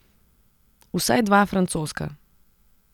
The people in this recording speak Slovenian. Vsaj dva francoska.